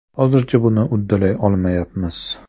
Hozircha buni uddalay olmayapmiz.